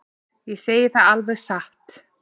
Ég segi það alveg satt.